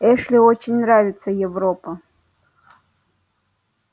эшли очень нравится европа